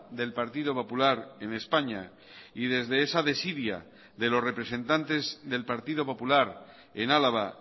del partido popular en españa y desde esa desidia de los representantes del partido popular en álava